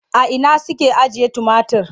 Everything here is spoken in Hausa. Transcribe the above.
A ina suke ajiye tumatir?